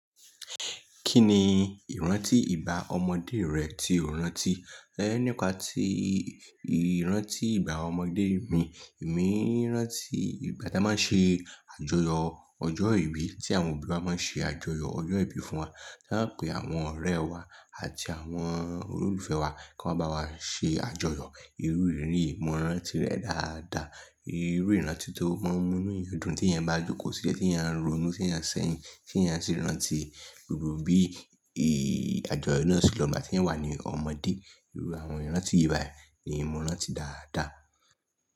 Kí ni ìrántí ìgbá ọmọdé rẹ tí o rántí? Nípa tí ìrántí ìgbá ọmọdé mi, èmi rántí ìgbà tí a máa ń ṣe àjọyọ̀ ọjọ́ ìbí tí àwọn òbí wa máa ń ṣe àjọyọ̀ ọjọ́ ìbí fún wa. Ta pé àwọn ọ̀rẹ́ wa àti àwọn olólùfẹ́ wa kí wọ́n bá wa ṣe àjọyọ̀. Irú iriri yìí mo rántí rẹ̀ dáadáa. Irú ìrántí tó múnú ìyọdún tí ẹn bá jókòó sílẹ̀, tí ẹ ń ronú, tí ẹ ń sẹ́yin, tí ẹ ń sì rántí gbogbo bí àjọyọ̀ náà ṣe lọ ìgbà tí ẹn wà ní ọmọdé. Irú àwọn ìrántí yìí bá nìí mo rántí dáadáa.